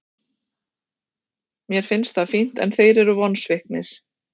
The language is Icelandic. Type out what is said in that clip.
Mér finnst það fínt en þeir eru vonsviknir.